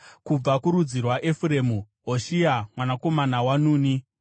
kubva kurudzi rwaEfuremu, Hoshea mwanakomana waNuni;